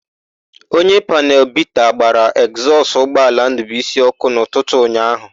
Onye panelu bita gbara ekzọsụ ụgbọala Ndụbuisi ọ́kụ́ n'ụtụtụ ụnyaahụ.